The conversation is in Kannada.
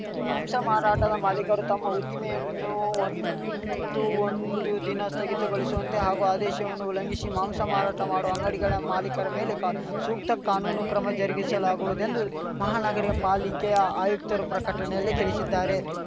ಮಾಂಸ ಮಾರಾಟದ ಮಾಲೀಕರು ತಮ್ಮ ಉದ್ದಿಮೆಯನ್ನು ಅಂದು ಒಂದು ದಿನ ಸ್ಥಗಿತಗೊಳಿಸುವಂತೆ ಹಾಗೂ ಆದೇಶವನ್ನು ಉಲ್ಲಂಘಿಶಿ ಮಾಂಸ ಮಾರಾಟ ಮಾಡುವ ಅಂಗಡಿಗಳ ಮಾಲೀಕರ ಮೇಲೆ ಸೂಕ್ತ ಕಾನೂನು ಕ್ರಮ ಜರುಗಿಸಲಾಗುವುದೆಂದು ಮಹಾನಗರಪಾಲಿಕೆ ಆಯುಕ್ತರು ಪ್ರಕಟಣೆಯಲ್ಲಿ ತಿಳಿಶಿದ್ದಾರೆ